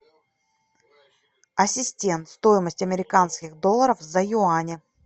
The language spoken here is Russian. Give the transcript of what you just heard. ассистент стоимость американских долларов за юани